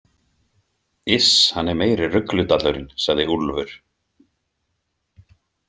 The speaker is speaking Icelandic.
Iss, hann er meiri rugludallurinn, sagði Úlfur.